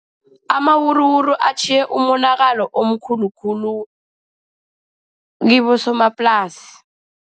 Amawuruwuru atjhiye umonakalo omkhulu khulu kibosomaplasi.